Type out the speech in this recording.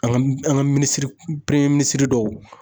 An ka an ka minisiri premiye minisiri dɔw